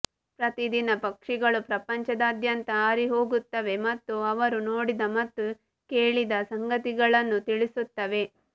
ಪ್ರತಿದಿನ ಪಕ್ಷಿಗಳು ಪ್ರಪಂಚದಾದ್ಯಂತ ಹಾರಿಹೋಗುತ್ತವೆ ಮತ್ತು ಅವರು ನೋಡಿದ ಮತ್ತು ಕೇಳಿದ ಸಂಗತಿಗಳನ್ನು ತಿಳಿಸುತ್ತವೆ